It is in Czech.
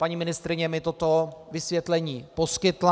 Paní ministryně mi toto vysvětlení poskytla.